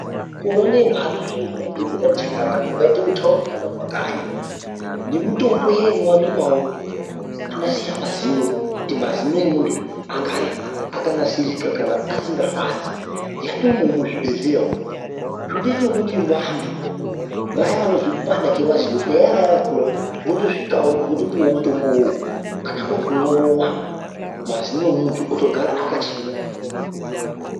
Mukore unowu mutombo muzvinji dzati chakata kungaite kuthaundi kana kumakanyi ,ngemutombo iya inowanikwawo inonasira mazino ,kuti mazino emuntu agare akanasirika kana asingarwadzi yatoomoo muzvibhedhleya umu . Zvotoita ngokuti vantu vaye venekupanda kwemazino nevaye vakura votisvikawo votopuwawo mutombo uwowu . Kana kuri kumwa vomwa mazino emuntu otogara akachena.